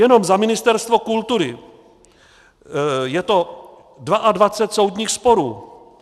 Jenom za Ministerstvo kultury je to 22 soudních sporů.